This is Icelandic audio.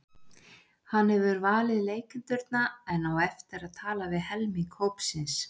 Hann hefur valið leikendurna en á eftir að tala við helming hópsins.